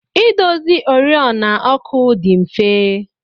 Idozi oriọna ọkụ dị mfe.